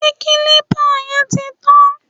Ṣé kílípà yẹn ti tàn?